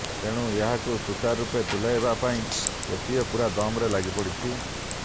ତେଣୁ ଏହାକୁ ସୂଚାର ରୂପେ ତୁଲାଇବା ପାଇଁ ଓସିଏ ପୂରା ଦମରେ ଲାଗିପଡ଼ିଛି